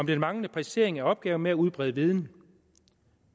den manglende præcisering af opgaven med at udbrede viden